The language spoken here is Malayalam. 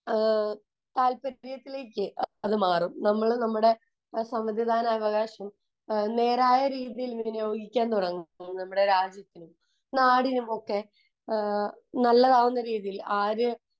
താല്പര്യത്തിലേക്ക് അത് മാറും നമ്മൾ നമ്മുടെ സമ്മതിദാനാവകാശം നേരായ രീതിയിൽ ഉപയോഗിക്കാൻ തുടങ്ങും നമ്മുടെ രാജ്യത്തിനും നാടിനുമൊക്കെ നല്ലതാവുന്ന രീതിയിൽ ആര്